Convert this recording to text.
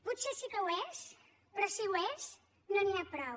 potser sí que ho és però si ho és no n’hi ha prou